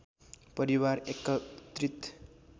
परिवार एकत्रित